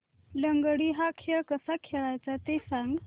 लंगडी हा खेळ कसा खेळाचा ते सांग